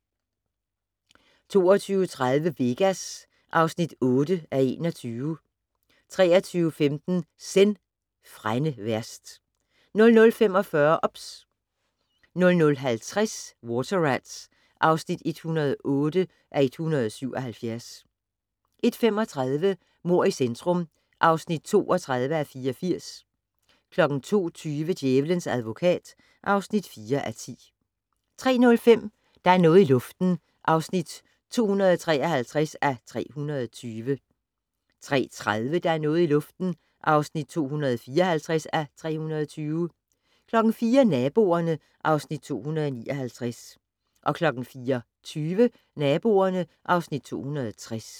22:30: Vegas (8:21) 23:15: Zen: Frænde værst 00:45: OBS 00:50: Water Rats (108:177) 01:35: Mord i centrum (32:84) 02:20: Djævelens advokat (4:10) 03:05: Der er noget i luften (253:320) 03:30: Der er noget i luften (254:320) 04:00: Naboerne (Afs. 259) 04:20: Naboerne (Afs. 260)